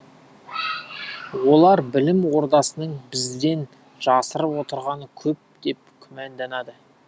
олар білім ордасының бізден жасырып отырғаны көп деп күмәнданады